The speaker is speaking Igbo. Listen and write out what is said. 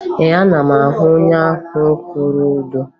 Ee, ana m ahụ onye ahụ kwụrụ ụdọ